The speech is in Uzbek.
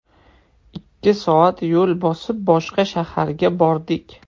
Ikki soat yo‘l bosib, boshqa shaharga bordik.